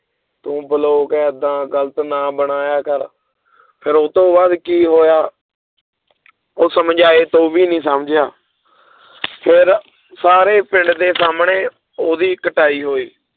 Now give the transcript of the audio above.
ਤੂੰ ਬਲੋਗ ਏਦਾਂ ਗ਼ਲਤ ਨਾ ਬਣਾਇਆ ਕਰ ਫਿਰ ਉਹ ਤੋਂ ਬਾਅਦ ਕੀ ਹੋਇਆ ਉਹ ਸਮਝਾਏ ਤੋਂ ਵੀ ਨੀ ਸਮਝਿਆ ਫਿਰ ਸਾਰੇ ਪਿੰਡ ਦੇ ਸਾਹਮਣੇ ਉਹਦੀ ਕੁਟਾਈ ਹੋਈ